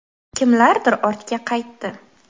Kimlardir ortga qaytdi.